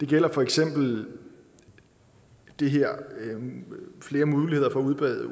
gælder for eksempel det her med flere muligheder for at udbyde